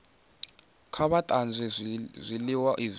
kha vha tanzwe zwiliwa zwi